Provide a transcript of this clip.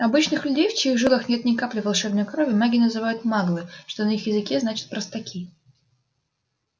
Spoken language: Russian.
обычных людей в чьих жилах нет ни капли волшебной крови маги называют маглы что на их языке значит простаки